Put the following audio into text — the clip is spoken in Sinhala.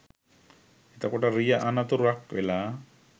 එතකොට රිය අනතුරක් වෙලා